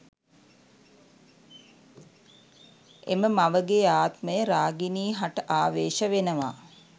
එම මවගේ ආත්මය රාගිනී හට ආවේශ වෙනවා